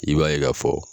I b'a ye k'a fɔ